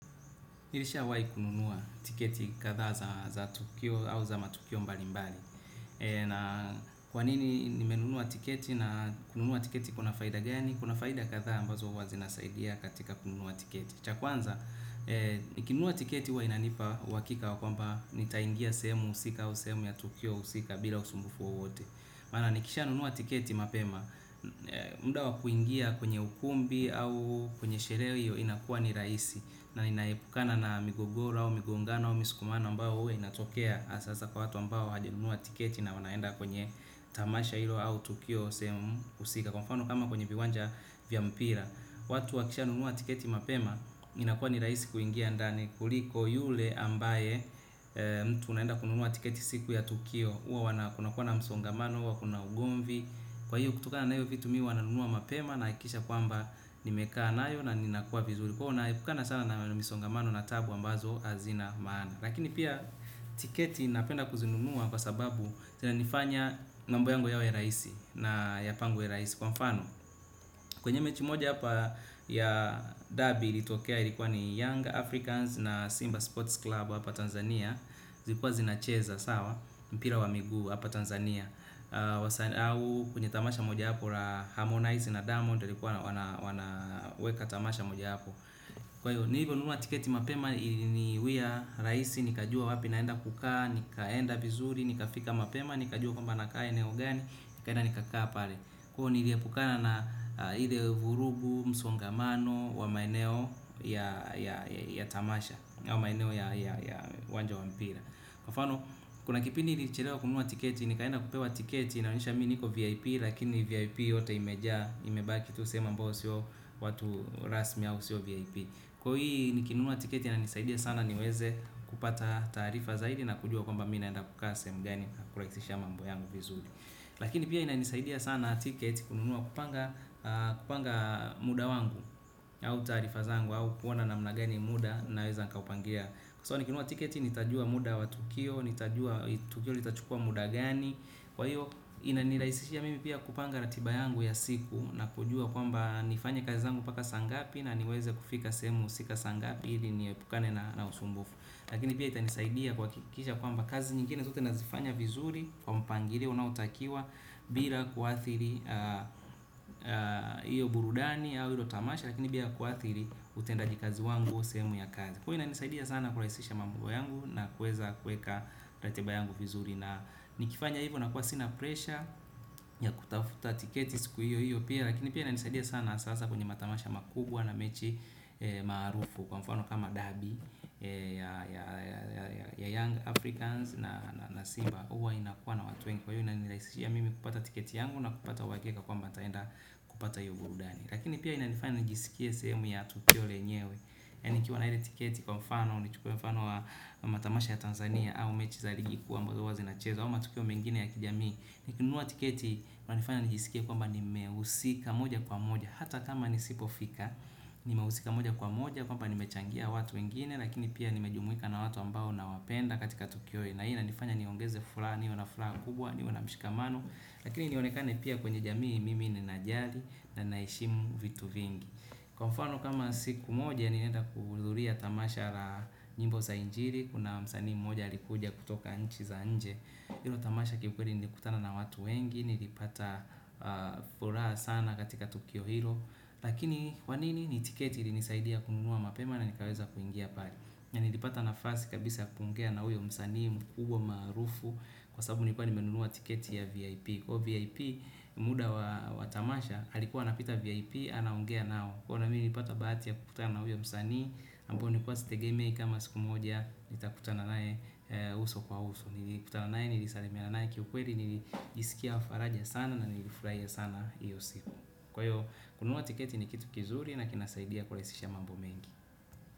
Nilishawahi kununua tiketi kadhaa za tukio au za matukio mbalimbali. Na kwanini nimenunua tiketi na kununua tiketi kuna faida gani? Kuna faida kadhaa ambazo huwa zinasaidia katika kununa tiketi. Cha kwanza, nikinunua tiketi huwa inanipa uhakika wa kwamba nitaingia sehemu husika au sehemu ya tukio husika bila ya usumbufu wowote. Maana nikishanunua tiketi mapema. Muda wa kuingia kwenye ukumbi au kwenye sherehe hiyo inakuwa ni rahisi na ninaepukana na migogoro au migongano au misukumano mbayo huwa inatokea hasa hasa kwa watu mbao hawajanunua tiketi na wanaenda kwenye tamasha hilo au tukio sehemu husika. Kwa mfano kama kwenye viwanja vya mpira watu wakishanunua tiketi mapema inakuwa ni rahisi kuingia ndani kuliko yule. Ambaye mtu unaenda kununuua tiketi siku ya tukio huwa wana kunakua na msongamano huwa kuna ugumvi kwahiyo kutokana na hiyo vitu mimi huwa nanunua mapema na hakikisha kwamba nimekaa nayo na ninakuwa vizuri. Kwahiyo naepukana sana na misongamano na tabu ambazo hazina, maana lakini pia tiketi napenda kuzinunua kwa sababu zinanifanya mambo yangu yawe rahisi na yapangwe rahisi kwa mfano kwenye mechi moja hapa ya dabi ilitokea ilikuwa ni Young Africans na Simba sport club hapa Tanzania. Zilikuwa zinacheza sawa mpira wa miguu hapa Tanzania, wasaa au kwenye tamasha moja wapo kati Harmonize na Diamond walikuwa wana wanaweka tamasha moja wapo, kwahivyo nilivyo nunua tiketi mapema iliniwia rahisi nikajua wapi naenda kukaa, nikaenda vizuri, nikafika mapema nikajua kwamba nakaa eneo gani nikaenda nikakaa pale kwahiyo niliepukana na ile vurugu, msongamano wa maeneo ya, ya, ya ya tamasha au maeneo ya, ya, ya uwanja wa mpira kwa mfano. Kuna kipindi nilichelewa kununua tiketi nikaenda kupewa tiketi inayoonyesha mimi nipo VIP lakini VIP yote imejaa imebaki tu sehemu ambayo mbayo sio watu rasmi au sio VIP, kwahiyo hii nikinunua tiketi inanisaidia sana niweze kupata taarifa zaidi na kujua kwamba mimi naenda kukaa sehemu gani na kurahisisha mambo yangu vizuri. Lakini pia inanisaidia sana tiketi kununua, kupanga, kupanga muda wangu au taarifa zangu au kuona namna gani muda naweza kuupangilia kwasababu nikinunua tiketi nitajua muda wa tukio, nitajua tukio litachukua muda gani, kwahiyo inanirahisishia mimi pia kupanga ratiba yangu ya siku na kujua kwamba nifanye kazi zangu mpaka saa ngapi na niweze kufika sehemu husika tika saa ngapi ili niepukane na usumbufu lakini pia itanisaidia kuhakikisha kwamba kazi nyingine zote nazifanya vizuri kwa mpangilio unaotakiwa bila kuathiri hiyo burudani au hilo tamasha lakini pia kuathiri utendajikazi wangu au sehemu ya kazi inanisaidia sana kurahisisha mambo yangu na kuweza kuweka ratiba yangu vizuri na nikifanya hivyo nakuwa sina presha ya kutafuta tiketi siku hiyo hiyo pia lakini pia ina nisaidia sana hasa hasa kwenye matamasha makubwa na mechi maarufu. Kwa mfano kama dabi ya, ya, ya ya Young Africans na Simba huwa inakuwa na watu wengi kwahiyo inanirahisishia mimi kupata tiketi yangu na kupata uhakika kwamba nitaenda kupata hiyo burudani lakini pia inanifanya nijisikie sehemu ya tukio lenyewe. Yaani nikiwa na ile tiketi kwa mfano au nichukue mfano wa matamasha ya Tanzania au mechi za ligi kuu ambazo huwa zinachezo au matukio mengine ya kijamii nikinunua tiketi kunanifanya nijisikia kwamba nimehusika moja kwa moja hata kama nisipofika nimehusika moja kwa moja kwamba nimechangia watu wengine lakini pia nimejumuika na watu ambao na wapenda katika tukio na hii inanifanya niongeze furaha, niwe na furaha kubwa, niwe na mshikamano lakini nionekane pia kwenye jamii mimi ninajali na ninaheshimu vitu vingi kwa mfano kama siku moja nilienda kudhululia tamasha la nyimbo za injili, kuna msanii moja alikuja kutoka nchi za nje hilo tamasha ki ukweli nilikutana na watu wengi, nilipata furaha sana katika tukio hilo, lakini kwanini ni tiketi ilisaidia kununua mapema na nikaweza kuingia pale. Na nilipata nafasi kabisa yakuongea na huyo msanii mkubwa maarufu kwasasabu nilikuwa nimenunua tiketi ya VIP, kwahiyo VIP muda wa tamasha alikuwa anapita VIP anaongea nao kwahiyo mimi nilipata bahati ya kukutana na uyo msanii ambao nilikuwa sitegemei kama siku moja nitakutana nae uso kwa uso nilikutana naye, nilisalimia naye kiukweli nilijisikia faraja sana na nilifurahia sana iyo siku, kwahiyo kununua tiketi ni kitu kizuri na kinasaidia kurahisisha mambo mengi.